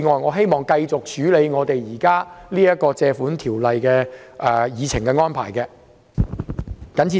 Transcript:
我希望繼續處理這項根據《借款條例》提出擬議決議案的議程。